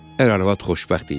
Əgər əlvad xoşbəxt idi.